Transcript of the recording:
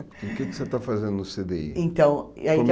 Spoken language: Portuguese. O que que você está fazendo no cê dê i? Então, aí que a